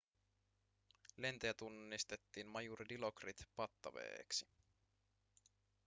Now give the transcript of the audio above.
lentäjä tunnistettiin majuri dilokrit pattaveeksi